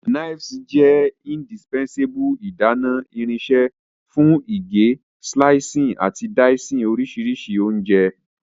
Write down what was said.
nives jẹ indispensable idana irinṣẹ fun ige, slicing, ati dicing orisirisi ounje ohun.